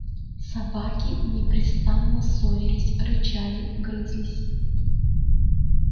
собаки непрестанно ссорились рычали грызлись